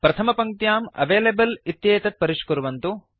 प्रथमपङ्क्त्यां available इत्येतत् परिष्कुर्वन्तु